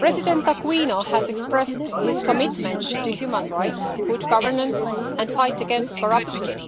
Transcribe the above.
President Aquino has expressed his commitment to human rights, good governance and the fight against corruption,